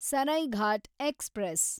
Saraighat express